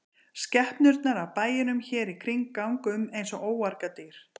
Skepnurnar af bæjunum hér í kring ganga um eins og óargadýr.